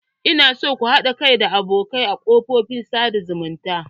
Ina so ku haɗa kai da abokai a kafofin sada zumunta.